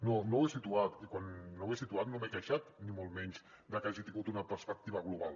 no no ho he situat i quan no ho he situat no m’he queixat ni molt menys de que hagi tingut una perspectiva global